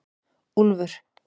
Úlfur